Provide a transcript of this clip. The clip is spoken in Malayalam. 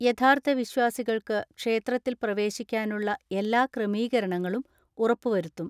യഥാർത്ഥ വിശ്വാസി കൾക്ക് ക്ഷേത്രത്തിൽ പ്രവേശിക്കാനുളള എല്ലാ ക്രമീകര ണങ്ങളും ഉറപ്പുവരുത്തും.